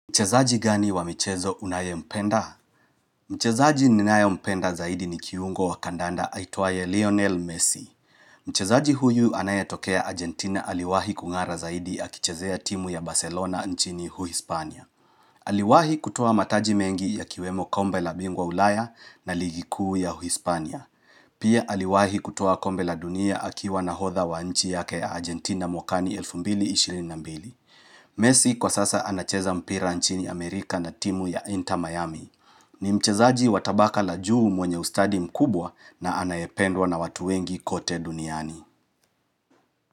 Mchezaji gani wa michezo unaye mpenda? Mchezaji ninaye mpenda zaidi ni kiungo wa kandanda aitwaye Lionel Messi. Mchezaji huyu anaye tokea Argentina aliwahi kungara zaidi akichezea timu ya Barcelona nchini Uhispania. Aliwahi kutoa mataji mengi ya kiwemo kombe la bingwa ulaya na ligi kuu ya Uhispania. Pia aliwahi kutoa kombe la dunia akiwa na hodha wa nchi yake ya Argentina mwakani elfu mbili ishirini na mbili. Mesi kwa sasa anacheza mpira nchini Amerika na timu ya Inter Miami. Ni mchezaji watabaka la juu mwenye ustadi mkubwa na anayependwa na watu wengi kote duniani.